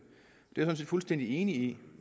det er jeg sådan set fuldstændig enig i